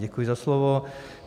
Děkuji za slovo.